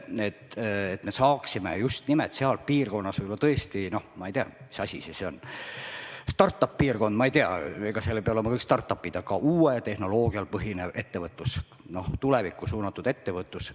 Siis me saaksime just nimelt seal piirkonnas – ma ei tea, mis asi see siis on, äkki start-up-piirkond, ehkki seal ei pea olema kõik start-up'id – rakendada uuel tehnoloogial põhinevat ja tulevikku suunatud ettevõtlust.